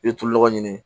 I bɛ tulo nɔgɔ ɲini